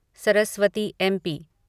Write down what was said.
Saraswati MP